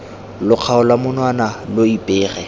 lo kgaola monwana lo ipege